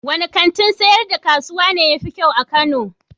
Wanne kantin sayar da kasuwa ne ya fi kyau a Kano?